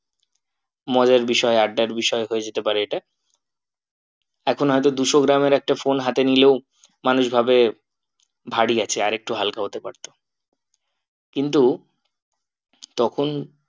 মজার বিষয় আড্ডার বিষয় হয়ে যেতে পারে এটা এখন হয়তো দুশো গ্রামের একটা phone হাতে নিলেও মানুষ ভাবে ভারী আছে আর একটু হালকা হতে পারতো কিন্তু তখন